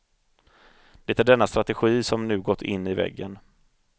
Det är denna strategi som nu gått in i väggen.